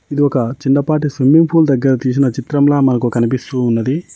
ఇది ఒక చిన్నపాటి స్విమ్మింగ్ పూల్ దగ్గర తీసిన చిత్రంలా మనకు కనిపిస్తూ ఉన్నది.